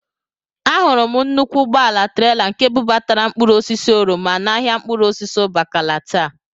Ahụrụ m nnukwu ụgbọala trela nke bubatara mkpụrụosisi oroma n'ahịa mkpụrụosisi Ụbakala taa